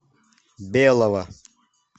белого